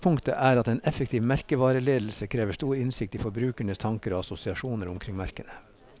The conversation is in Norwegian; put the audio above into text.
Utgangspunkt er at en effektiv merkevareledelse krever stor innsikt i forbrukernes tanker og assosiasjoner omkring merkene.